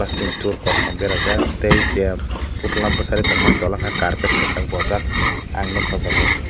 steel tool kosom berajak tai jai putla bwsari tommani tola ke carpet kwchak bowjak ang nugkha aw jaaga o.